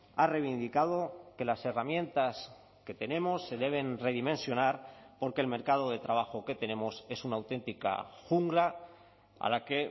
ha reivindicado que las herramientas que tenemos se deben redimensionar porque el mercado de trabajo que tenemos es una auténtica jungla a la que